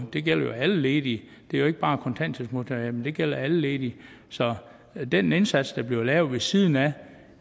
det gælder jo alle ledige det er ikke bare kontanthjælpsmodtagere men det gælder alle ledige så den indsats der bliver lavet ved siden af